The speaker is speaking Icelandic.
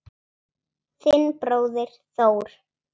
Þinn bróðir Þór.